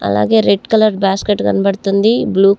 అలాగే red colour basket కనపడుతుంది. Blue --